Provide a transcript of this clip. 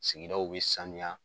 Sigidaw bɛ sanuya.